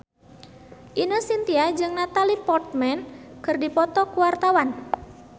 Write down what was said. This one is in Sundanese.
Ine Shintya jeung Natalie Portman keur dipoto ku wartawan